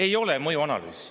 Ei ole mõjuanalüüsi.